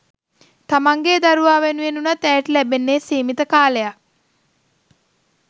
තමන්ගෙ දරුවා වෙනුවෙන් වුණත් ඇයට ලැබෙන්න සීමිත කාලයක්